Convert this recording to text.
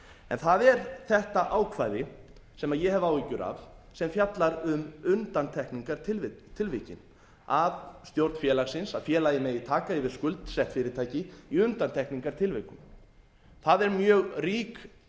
en það er þetta ákvæði sem ég hef áhyggjur af sem fjallar um undantekningartilvikin að stjórn félagsins að félagið megi taka yfir skuldsett fyrirtæki í undantekningartilvikum það er mjög rík